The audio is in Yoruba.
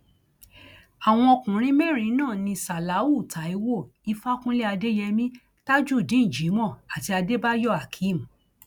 àwọn ọkùnrin mẹrin náà ní ṣáláú taiwo ìfàkúnlẹ adéyèmí tajudeen jimoh àti adébáyò akeem